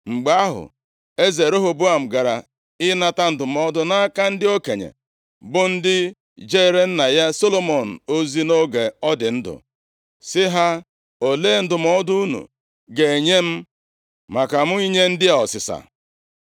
Mgbe ahụ, eze Rehoboam gara ịnata ndụmọdụ nʼaka ndị okenye, bụ ndị jeere nna ya Solomọn ozi nʼoge ọ dị ndụ, sị ha, “Olee ndụmọdụ unu ga-enye m maka mụ inye ndị a ọsịsa?”